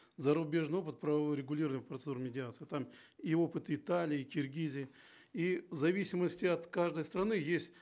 зарубежный опыт правового регулирования процедуры медиации там и опыт италии киргизии и в зависимости от каждой страны есть